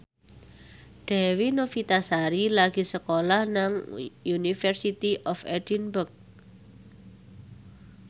Dewi Novitasari lagi sekolah nang University of Edinburgh